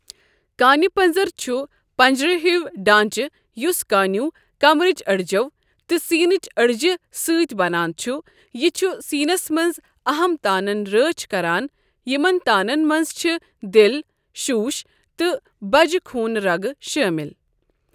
کانہِ پَنٛزُر چھُ پَنٛجرٕ ہیوے ڈانٛچہٕ یُس کانیو، کمرٕچ أڑِجو، تہٕ سیٖنٕچ أڈجہٕ سٟتؠ بَنان چھُ یہِ چھُ سیٖنَس مَنٛز اَہَم تانَن رٲچھؠ کَران یِمن تانَن مَنٛز چھِ دِل، شُش تہٕ بَجہٕ خوٗن رَگہٕ شٲمِل۔